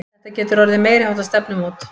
Þetta getur orðið meiriháttar stefnumót!